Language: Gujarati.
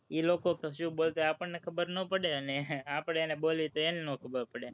એ લોકો શું બોલતા હોય એ આપણને ખબર નો પડે અને આપણે એને બોલવી તો એને નો ખબર પડે.